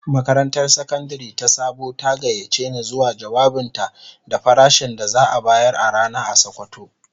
Makarantar Sakandare ta Sabo ta gayyace ni zuwa jawabinta da farashin da za'a bayar a rana a sokoto.